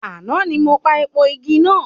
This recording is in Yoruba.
Àná ni mo pa èèpo igi náà.